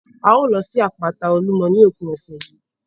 A ó lọ sí àpáta Olúmọ ní òpin ọ̀sẹ̀ yìí